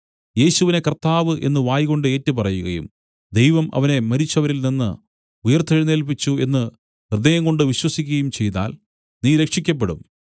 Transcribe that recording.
യേശുവിനെ കർത്താവ് എന്നു വായ്കൊണ്ട് ഏറ്റുപറയുകയും ദൈവം അവനെ മരിച്ചവരിൽ നിന്നു ഉയിർത്തെഴുന്നേല്പിച്ചു എന്നു ഹൃദയംകൊണ്ട് വിശ്വസിക്കയും ചെയ്താൽ നീ രക്ഷിയ്ക്കപ്പെടും